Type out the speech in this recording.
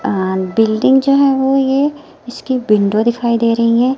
अ building जो है वो ये इसकी विंडो दिखाई दे रही है।